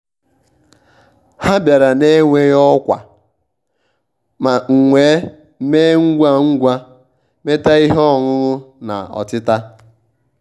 ha bịara na-enweghị ọkwa m wee mee ngwa ngwa metaa ihe ọṅụṅụ na ọtịta